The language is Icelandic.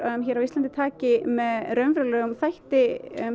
á Íslandi taki með raunverulegum hætti